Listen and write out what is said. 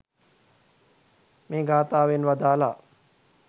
මේ ගාථාවෙන් වදාළා.